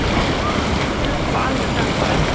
Það er þá alveg gagnkvæmt.